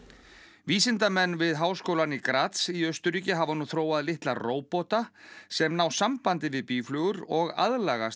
vísindamenn við háskólann í í Austurríki hafa nú þróað litla róbóta sem ná sambandi við býflugur og aðlagast